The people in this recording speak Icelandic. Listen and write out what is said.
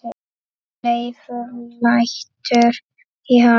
Leifur lætur í haf